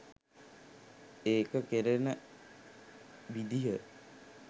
ඒක කෙරෙන විදිහ.